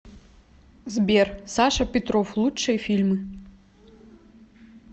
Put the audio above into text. сбер саша петров лучшие фильмы